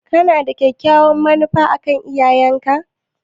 Kana da kyakkyawar manufa a kan iyayenka?